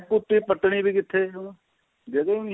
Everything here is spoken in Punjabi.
ਕੁਪੀ ਪਟਣੀ ਵੀ ਕਿੱਥੇ ਜਗ੍ਹਾ ਈ ਨਹੀ ਏ